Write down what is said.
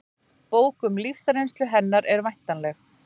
Bók um lífsreynslu hennar er væntanleg